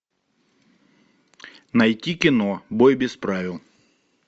найти кино бой без правил